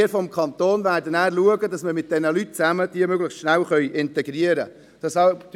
Wir vom Kanton werden danach dafür sorgen, dass wir diese möglichst schnell integrieren können.